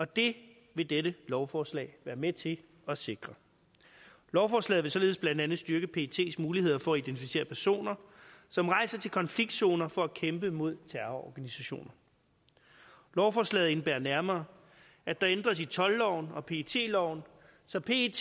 det vil dette lovforslag være med til at sikre lovforslaget vil således blandt andet styrke pets muligheder for at identificere personer som rejser til konfliktzoner for at kæmpe mod terrororganisationer lovforslaget indebærer nærmere at der ændres i toldloven og pet loven så pet